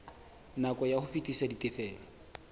nako ya ho fetisa ditifelo